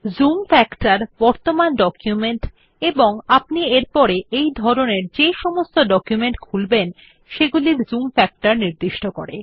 zoom factor বর্তমান document এবং আপনি এরপরে এই ধরনের যে সমস্ত ডকুমেন্ট খুলবেন সেগুলির জুম ফ্যাক্টর নির্দিষ্ট করে